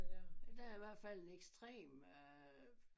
Der er i hvert fald en ekstrem øh